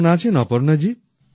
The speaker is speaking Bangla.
কেমন আছেন অপর্ণাজী